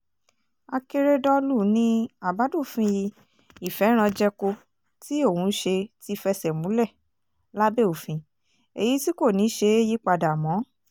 akérèdọ́lù ni àbádòfin ìfẹ́ranjẹko tí òun ṣe ti fẹsẹ̀ múlẹ̀ lábẹ́ òfin èyí tí kò ní í ṣeé yípadà mọ́